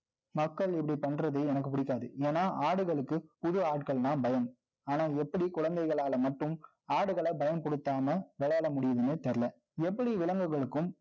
மக்கள் இப்படி பண்றது, எனக்கு பிடிக்காது. ஏன்னா, ஆடுகளுக்கு, புது ஆட்கள்தான் பயம். ஆனா, எப்படி குழந்தைகளால மட்டும், ஆடுகளை பயன்படுத்தாம, விளையாட முடியுதுன்னே தெரியலே. எப்படி, விலங்குகளுக்கும்